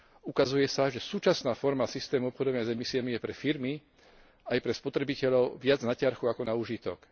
Ukazuje sa, že súčasná forma systému obchodovania s emisiami je pre firmy aj pre spotrebiteľov viac na ťarchu ako na úžitok.